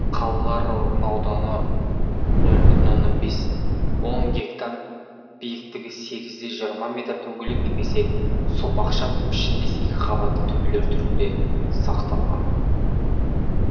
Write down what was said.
қалалар орын ауданы нөл бүтін оннан бес он гектар биіктігі сегіз де жиырма метр дөңгелек немесе сопақша пішіндес екі қабатты төбелер түрінде сақталған